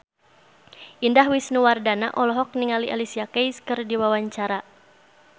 Indah Wisnuwardana olohok ningali Alicia Keys keur diwawancara